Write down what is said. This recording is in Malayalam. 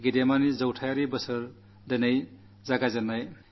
അതാണ് ഏകാത്മമാനവ ദർശനം